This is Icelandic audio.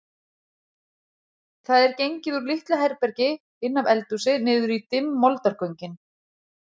Það er gengið úr litlu herbergi inn af eldhúsi niður í dimm moldargöngin.